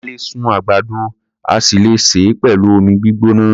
A lè sun àgbàdo a sì le sè é pẹ̀lú omi gbígbóná.